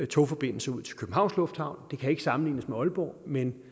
togforbindelsen ud til københavns lufthavn det kan ikke sammenlignes med aalborg men